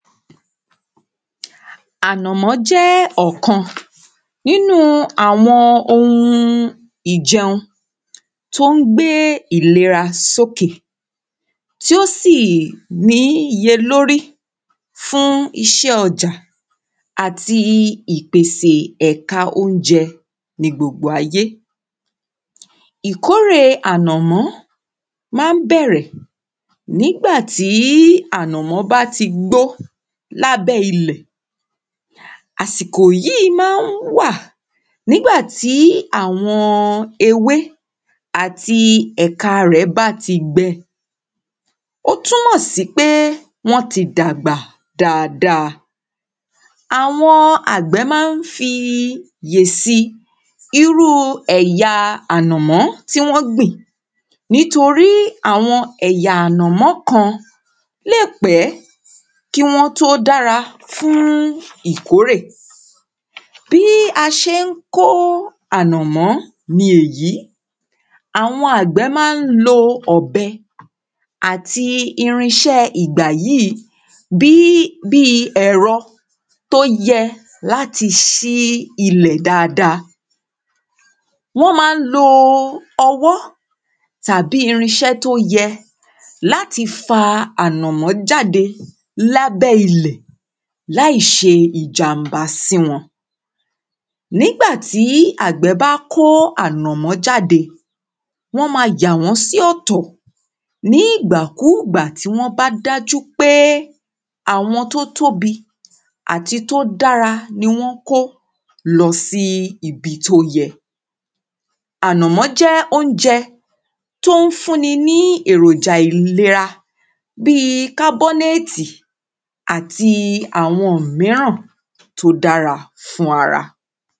ànàmọ́ ọ̀kan nínú àwọn ohun ìjẹun tó ń gbé ìlera sókè tí ó sì ní iye lórí fún iṣẹ́ ọjà àti ìpèsè ẹ̀ka óunjẹ ní gbogbo ayé ìkórè ànàmọ́ má ń bẹ̀rẹ̀ nígbà tí ànàmọ́ bá ti gbó lábẹ́ ilẹ̀ àsìkò yíì má ń wà nígbà tí àwọn ewé àti ẹ̀ka ẹ̀ bá ti gbẹ ó túmọ̀ sí pé wọ́n ti dàgbà dáada àwọn àgbẹ̀ má ń fi yè si irú ẹ̀ya ànàmọ̀ tí wọ́n gbìn nítorí àwọn ẹ̀yà ànàmọ̀ kan léè pẹ́ kí wọ́n tó dára fún ìkórè bí a ṣe ń kó ànàmọ̀ ni èyí àwọn àgbẹ̀ má ń lo ọ̀bẹ àti irinṣẹ́ ìgbàyí bíi ẹ̀rọ tó yẹ láti ṣí ilẹ̀ daada wọ́n má ń lo ọwọ́ tàbí irinṣẹ́ tó yẹ láti fa ànàmọ̀ jáde lábẹ́ ilẹ̀ láìṣe ìjàm̀bá sí wọn nígbà ti àgbẹ̀ bá kó ànàmọ̀ jáde wọ́n ma yà wọ́n sí ọ̀tọ̀ nígbà kúgbà tí wọ́n bá dájú pé àwọn tó tóbi àti tó dára ni wọ́n kó lọ sí ibi tó yẹ ànàmọ̀ jẹ́ óunjẹ tó ń fún ní èròjà ìlera bíi kábọ́néétì àti àwọn míràn tó dára fún ara